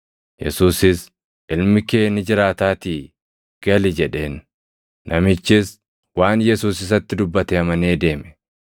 Yesuusis, “Ilmi kee ni jiraataatii gali!” jedheen. Namichis waan Yesuus isatti dubbate amanee deeme.